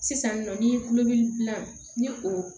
Sisan nɔ ni dilan ni o